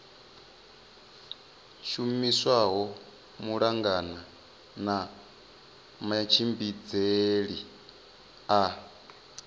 shumiswaho malugana na matshimbidzele a